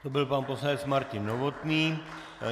To byl pan poslanec Martin Novotný.